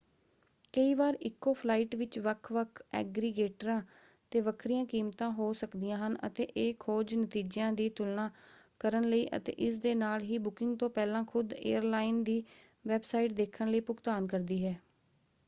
ਕਈ ਵਾਰ ਇੱਕੋ ਫਲਾਈਟ ਵਿੱਚ ਵੱਖ-ਵੱਖ ਐਗਰੀਗੇਟਰਾਂ ‘ਤੇ ਵੱਖਰੀਆਂ ਕੀਮਤਾਂ ਹੋ ਸਕਦੀਆਂ ਹਨ ਅਤੇ ਇਹ ਖੋਜ ਨਤੀਜਿਆਂ ਦੀ ਤੁਲਨਾ ਕਰਨ ਲਈ ਅਤੇ ਇਸ ਦੇ ਨਾਲ ਹੀ ਬੁਕਿੰਗ ਤੋਂ ਪਹਿਲਾਂ ਖੁਦ ਏਅਰਲਾਈਨ ਦੀ ਵੈੱਬਸਾਈਟ ਦੇਖਣ ਲਈ ਭੁਗਤਾਨ ਕਰਦੀ ਹੈ।